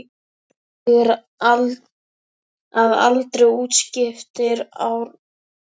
Tvítugur að aldri útskrifaðist Árni úr Skálholtsskóla.